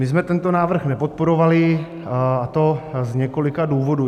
My jsme tento návrh nepodporovali, a to z několika důvodů.